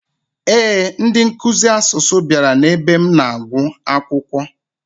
Ee, ndị nkuzi asụsụ bịara n'ebe m na-agwụ akwụkwọ.